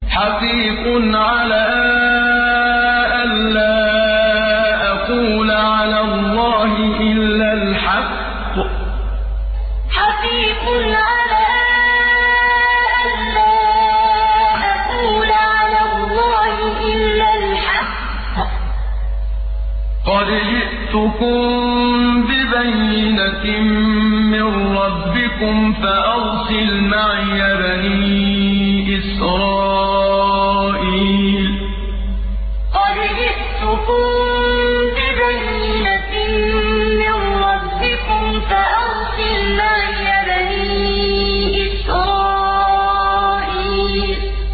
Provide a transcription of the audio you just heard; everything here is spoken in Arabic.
حَقِيقٌ عَلَىٰ أَن لَّا أَقُولَ عَلَى اللَّهِ إِلَّا الْحَقَّ ۚ قَدْ جِئْتُكُم بِبَيِّنَةٍ مِّن رَّبِّكُمْ فَأَرْسِلْ مَعِيَ بَنِي إِسْرَائِيلَ حَقِيقٌ عَلَىٰ أَن لَّا أَقُولَ عَلَى اللَّهِ إِلَّا الْحَقَّ ۚ قَدْ جِئْتُكُم بِبَيِّنَةٍ مِّن رَّبِّكُمْ فَأَرْسِلْ مَعِيَ بَنِي إِسْرَائِيلَ